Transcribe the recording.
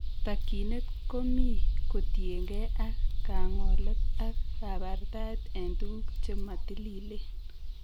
Takyinet komi kotiengei ak kang'olet ak kabartaet en tuguk che matililen